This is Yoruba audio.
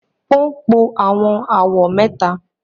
o npọ awọn awọ mẹta.